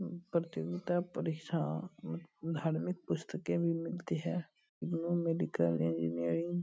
प्रतियोगिता परीक्षा अम धार्मिक पुस्तके भी मिलती हैं। Medical engineering --